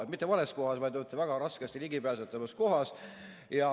Või mitte vales kohas, vaid väga raskesti ligipääsetavas kohas.